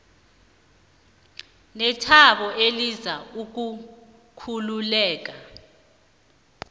nethabo eliza nokukhululeka